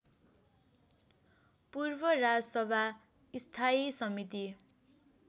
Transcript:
पूर्व राजसभा स्थायी समिति